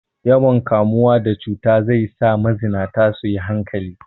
Yawan kamuwa da cuta zai za mazinata su yi hankali.